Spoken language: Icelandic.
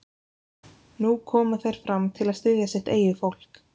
Nú koma þeir fram til að styðja sitt eigið fólk?